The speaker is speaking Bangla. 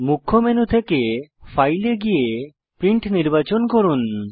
মুখ্য মেনু থেকে ফাইল এ গিয়ে প্রিন্ট নির্বাচন করুন